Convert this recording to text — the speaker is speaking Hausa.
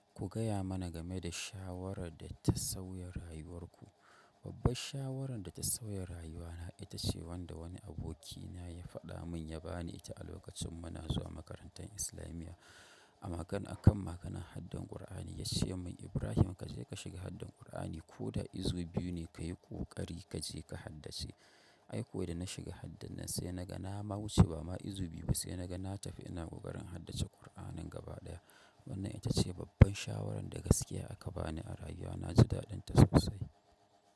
Ku gaya mana game da shawarar da ta sauya rayuwar ku. Babbar shawarar da ta sauya rayuwana ita ce wanda wani abokina ya faɗa mun ya bani ita a lokacin muna zuwa makarantar islamiyya. A magana akan maganan haddar Ƙur'ani ya ce min, Ibrahim kaje ka shiga Haddar Ƙur'ani ko da izu biyu ne ka yi ƙoƙari kaje ka haddace. Ai kuwa da na shiga haddar nan, sai naga na ma wuce ba ma izu biyu ba. Na tafi ina ƙoƙarin haddace ƙur'anin gabadaya. Wannan ita ce babbar shawarar da gaskiya aka bani a rayuwa na ji daɗinta sosai.